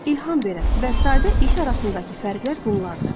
İlham verən və sadə iş arasındakı fərqlər bunlardır.